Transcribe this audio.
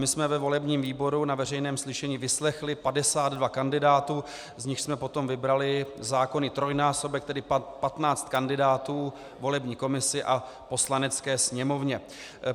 My jsme ve volebním výboru na veřejném slyšení vyslechli 52 kandidátů, z nichž jsme potom vybrali zákonný trojnásobek, tedy 15 kandidátů, volební komisi a Poslanecké sněmovně.